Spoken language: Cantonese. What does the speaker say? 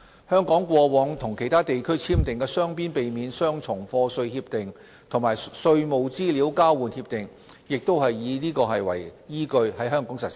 香港過往與其他地區簽訂的雙邊避免雙重課稅協定和稅務資料交換協定亦是以此為依據在香港實施。